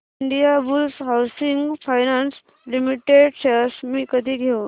Indiabulls housing finance limited shares मी कधी घेऊ